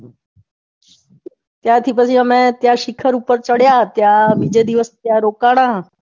ત્યાંથી પછી અમે ત્યાં શિખર ઉપર ચડ્યા ત્યાં બીજે દિવસ ત્યાં રોકાણા.